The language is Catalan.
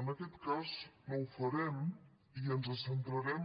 en aquest cas no ho farem i ens centrarem